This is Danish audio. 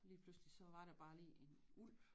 Lige pludselig så var der bare lige en ulv